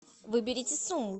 выберите сумму